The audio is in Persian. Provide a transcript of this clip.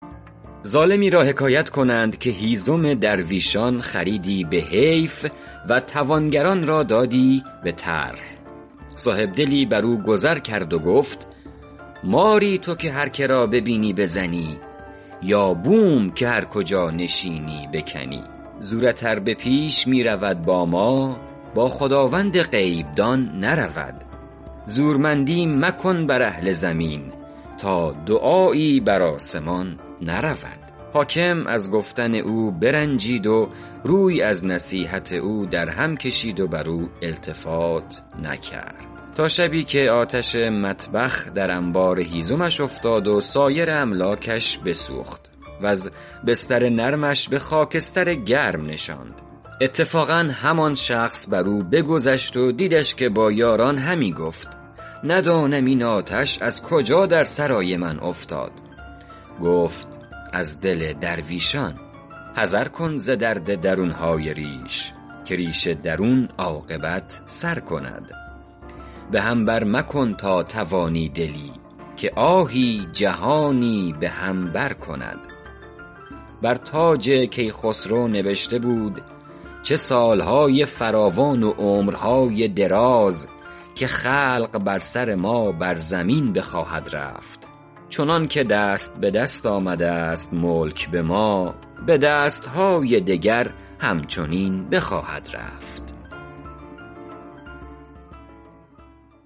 ظالمی را حکایت کنند که هیزم درویشان خریدی به حیف و توانگران را دادی به طرح صاحبدلی بر او گذر کرد و گفت ماری تو که هر که را ببینی بزنی یا بوم که هر کجا نشینی بکنی زورت ار پیش می رود با ما با خداوند غیب دان نرود زورمندی مکن بر اهل زمین تا دعایی بر آسمان نرود حاکم از گفتن او برنجید و روی از نصیحت او در هم کشید و بر او التفات نکرد تا شبی که آتش مطبخ در انبار هیزمش افتاد و سایر املاکش بسوخت وز بستر نرمش به خاکستر گرم نشاند اتفاقا همان شخص بر او بگذشت و دیدش که با یاران همی گفت ندانم این آتش از کجا در سرای من افتاد گفت از دل درویشان حذر کن ز درد درون های ریش که ریش درون عاقبت سر کند به هم بر مکن تا توانی دلی که آهی جهانی به هم بر کند بر تاج کیخسرو نبشته بود چه سال های فراوان و عمر های دراز که خلق بر سر ما بر زمین بخواهد رفت چنان که دست به دست آمده ست ملک به ما به دست های دگر هم چنین بخواهد رفت